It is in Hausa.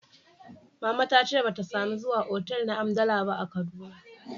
Mama ta ce ba ta samu zuwa otal na hamdala ba a Kaduna